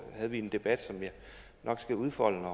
havde en debat som jeg nok skal udfolde